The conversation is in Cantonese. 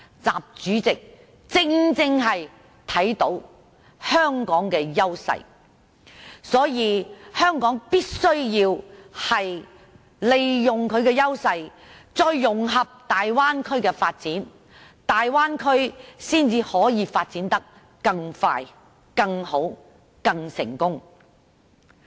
習主席正正看到香港的優勢，所以香港必須利用優勢，再融合大灣區的發展，大灣區才可以發展得更快、更好、更成功。